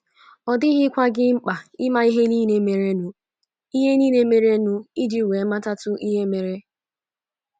Ọ dịghịkwa gị mkpa ịma ihe nile merenụ ihe nile merenụ iji wee matatu ihe mere.